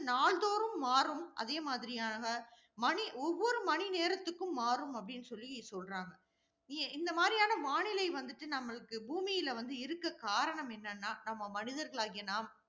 நாள்தோறும் மாறும். அதே மாதிரியான, மணி, ஒவ்வொரு மணி நேரத்துக்கும் மாறும் அப்படின்னு சொல்லி சொல்றாங்க. நீங்க இந்த மாதிரியான வானிலை வந்துட்டு நம்மளுக்கு பூமியில வந்து இருக்க காரணம் என்னன்னா நம்ம மனிதர்களாகிய நாம்